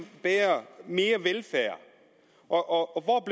mere velfærd og hvor